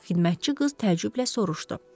Xidmətçi qız təəccüblə soruşdu.